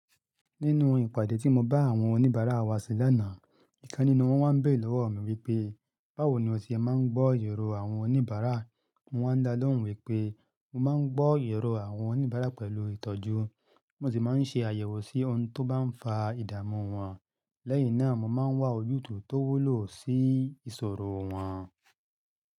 Nínú ìpàdé tí mo bá àwọn oníbàárà wa ṣe lánàá, ìkán nínú wọn wá ń béèrè lọ́wọ́ mi wípé, báwo ni o ti máa ń gbọ́ irò àwọn oníbàárà? Mọ n wá dálóhùn wípé mo máa ń gbọ́ irò àwọn oníbàárà pẹ̀lú ìtọ́jú. Mọ n sì máa ń ṣe àyẹ̀wò sí ohun tó bá ń fa ìdààmú wọn. Lẹ́yìn náà mo máa ń wá ojútùúl tó wúlò sí ìṣòro wọn.